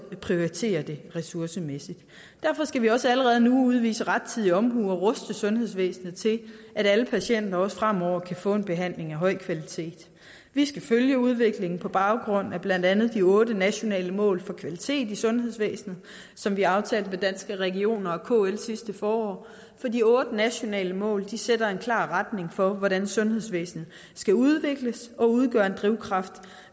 prioriterer det ressourcemæssigt derfor skal vi også allerede nu udvise rettidig omhu og ruste sundhedsvæsenet til at alle patienter også fremover kan få en behandling af høj kvalitet vi skal følge udviklingen på baggrund af blandt andet de otte nationale mål for kvalitet i sundhedsvæsenet som vi aftalte med danske regioner og kl sidste forår for de otte nationale mål sætter en klar retning for hvordan sundhedsvæsenet skal udvikles og udgør en drivkraft